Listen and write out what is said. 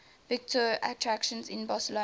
visitor attractions in barcelona